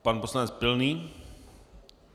Pan poslanec Pilný.